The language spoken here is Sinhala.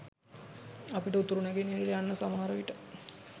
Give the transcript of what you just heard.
අපිට උතුරු නැගෙනහිර යන්න සමහරවිට